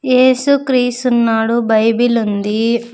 ఏసుక్రీసు ఉన్నాడు బైబిల్ ఉంది.